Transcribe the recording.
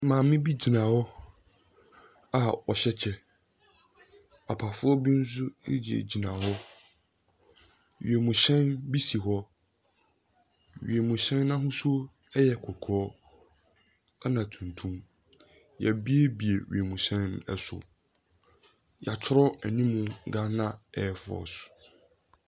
Maame bi gyina hɔ a ɔhyɛ kyɛ. Papafoɔ bi nso egyina gyina hɔ. Wiemhyɛn bi si hɔ. Wiemhyɛn n'ahosuo ɛyɛ kɔkɔɔ ɛna tuntum. Yebie bie wiemhyɛn no ɛso. Yɛatwerɛ anim Gaana ɛfɔs.